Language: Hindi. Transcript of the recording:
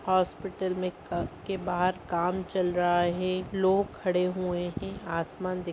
हॉस्पिटल में क के बाहर काम चल रहा है। लोग खड़े हुए हैं। आसमान दिख --